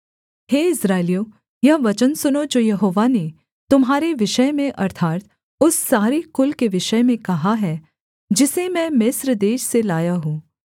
हे इस्राएलियों यह वचन सुनो जो यहोवा ने तुम्हारे विषय में अर्थात् उस सारे कुल के विषय में कहा है जिसे मैं मिस्र देश से लाया हूँ